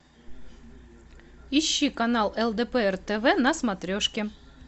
ищи канал лдпр тв на смотрешке